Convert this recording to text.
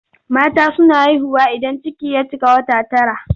Mata suna haihuwa idan ciki ya cika wata tara.